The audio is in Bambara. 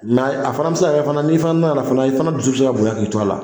Mɛ a fana be se ka kɛ fana, n'i fana nana fana , i fana dusu bɛ se ka bonya k' i to a la.